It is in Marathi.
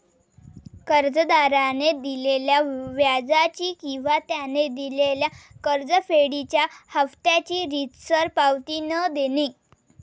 कर्जदाराने दिलेल्या व्याजाची किंवा त्याने दिलेल्या कर्जफेडीच्या हाफत्याची रीतसर पावती न देणे